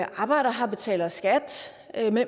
arbejder her og betaler skat